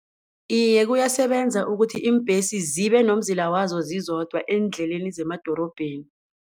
Iye, kuyasebenza ukuthi iimbhesi zibe nomzila wazo zizodwa eendleleni zemadorobheni.